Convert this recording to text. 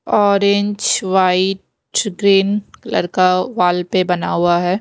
Orange white green colour का wall पे बना हुआ है।